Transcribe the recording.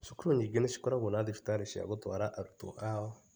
Cukuru nyingĩ nĩ cikoragwo na thibitarĩ cia gũtwara arutwo ao.